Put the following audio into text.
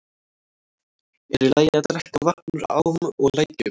Er í lagi að drekka vatn úr ám og lækjum?